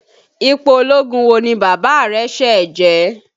Ipò ológun wo ni Bàbá rẹ̀ ṣẹ̀ jẹ?